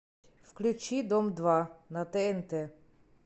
включи дом два на тнт